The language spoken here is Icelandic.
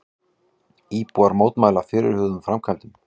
Íbúar mótmæla fyrirhuguðum framkvæmdum